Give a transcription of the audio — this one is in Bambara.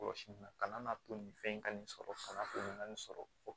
Kɔlɔsili la kana n'a to nin fɛn in ka nin sɔrɔ kana nin na nin sɔrɔ